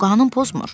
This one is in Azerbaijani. O qanun pozmur.